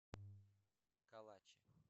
калаче